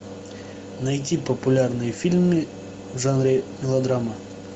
найти популярные фильмы в жанре мелодрама